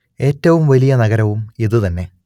ഏറ്റവും വലിയ നഗരവും ഇതു തന്നെ